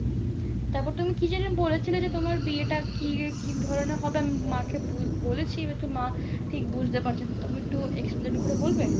তারপর তুমি কি যেন বলেছিলে? যে তোমার বিয়েটা কি কি ধরণের হবে? আমি মাকে ব বলেছি হয়তো মা ঠিক বুঝতে পারছে না, তুমি একটু explain করে বলবে?